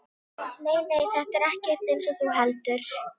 Nei, nei, þetta er ekkert eins og þú heldur.